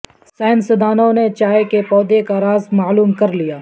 سائنسدانوں نے چائے کے پودے کا راز معلوم کر لیا